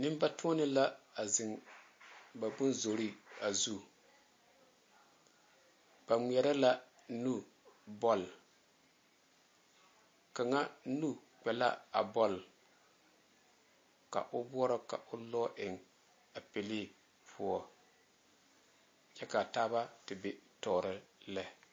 Nenbatɔɔne a zeŋ ba bonzore zu ba ŋmɛre la nu bol kaŋa nu kpɛ la a bol ka o boɔre ka o lɔ eŋ a pɛlee poɔ kyɛ kaa taaba te be tɔɔre lɛ.